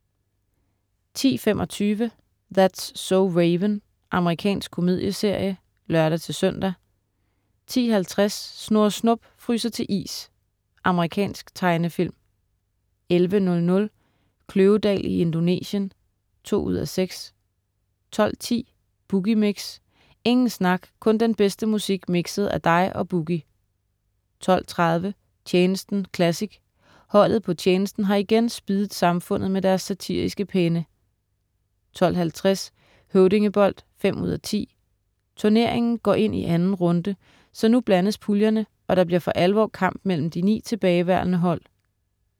10.25 That's so Raven. Amerikansk komedieserie (lør-søn) 10.50 Snurre Snup fryser til is. Amerikansk tegnefilm 11.00 Kløvedal i Indonesien 2:6* 12.10 Boogie Mix. Ingen snak, kun den bedste musik mikset af dig og "Boogie" 12.30 Tjenesten classic. Holdet på "Tjenesten" har igen spiddet samfundet med deres satiriske penne 12.50 Høvdingebold 5:10. Turneringen går ind i 2. runde, så nu blandes puljerne, og der bliver for alvor kamp mellem de ni tilbageværende hold